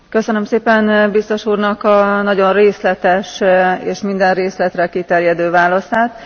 Köszönöm szépen a biztos úrnak a nagyon részletes és minden részletre kiterjedő válaszát.